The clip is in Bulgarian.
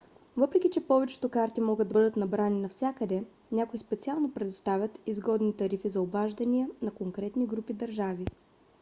въпреки че повечето карти могат да бъдат набрани навсякъде някои специално предоставят изгодни тарифи за обаждания за конкретни групи държави